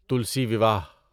تلسی وواہ